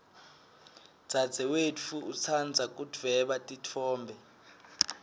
dzadzewetfu utsandza kudvweba titfombe